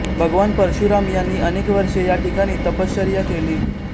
भगवान परशुराम यांनी अनेक वर्षे या ठिकाणी तपश्चर्या केली